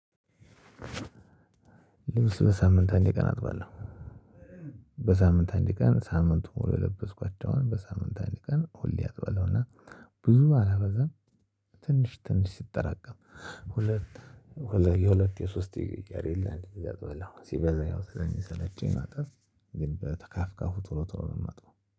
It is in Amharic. ልብስ በሳምንት አንድ ቀን አጥባለሁ። በሳምንት አንድ ቀን ሳምንቱን ሙሉ የለበስኳቸውን በሳምንት አንድ ቀን ሁሌ አጥባለሁ። እና ብዙ አላበዛም። ትንሽ ትንሽ ሲጠራቀም ሁለት የሁለት የሶስት ሲቀር የለ ሲበዛ ያው ስለሚሰለቸኝ ማጠብ። ግን በተካፍ ቶሎ ቶሎ ነው ማጥበው።